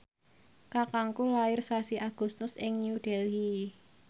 kakangku lair sasi Agustus ing New Delhi